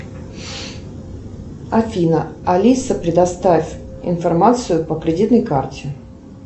афина алиса предоставь информацию по кредитной карте